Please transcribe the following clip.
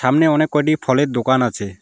সামনে অনেক কয়টি ফলের দোকান আছে।